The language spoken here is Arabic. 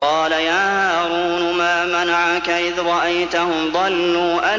قَالَ يَا هَارُونُ مَا مَنَعَكَ إِذْ رَأَيْتَهُمْ ضَلُّوا